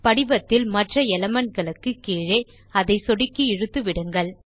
படிவத்தில் மற்ற எலிமென்ட்ஸ் க்கு கீழே அதை சொடுக்கி இழுத்து விடுங்கள்